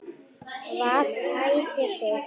Hvað kætir þig?